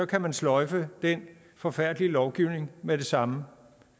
kan man sløjfe den forfærdelige lovgivning med det samme